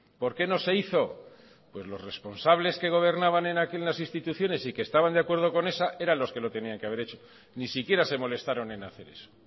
por qué no se hizo pues los responsables que gobernaban en aquellas instituciones y que estaban de acuerdo con esa eran los que lo tenían que haber hecho ni siquiera se molestaron en hacer eso